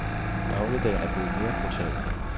Dagligdagen er blevet mere brutal.